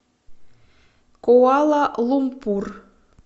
куала лумпур